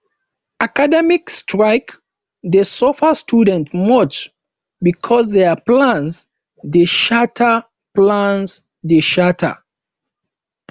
academic strike dey suffer students much because dia plans dey shatter plans dey shatter